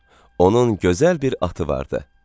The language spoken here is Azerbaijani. Onun gözəl bir atı vardı.